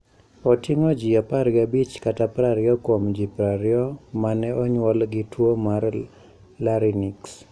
Oting'o ji 15 kata 20 kuom ji 20 ma ne onyuol gi tuwo mar larynx.